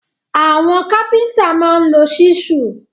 Àwọn kápẹ́ntà máa ń lo ṣísù